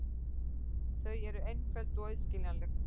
Þau eru einföld og auðskiljanleg.